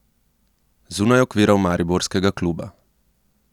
Zunaj okvirov mariborskega kluba?